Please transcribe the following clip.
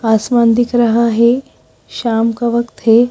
आसमान दिख रहा है शाम का वक्त है।